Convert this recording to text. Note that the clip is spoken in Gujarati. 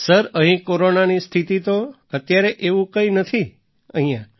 સર અહીં કોરોનાની સ્થિતિ તો અત્યારે એવું કંઈ નથી અહીંયા